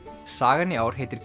sagan í ár heitir